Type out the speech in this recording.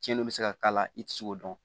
Cɛnninw bɛ se ka k'a la i tɛ se k'o dɔn